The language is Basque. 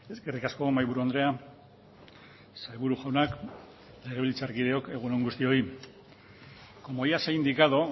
eskerrik asko mahaiburu andrea sailburu jaunak legebiltzarkideok egun on guztioi como ya se ha indicado